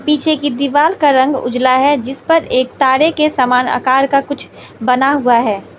पीछे की दीवाल का रंग उजला है। जिस पर एक तारे के समान आकार का कुछ बना हुआ है।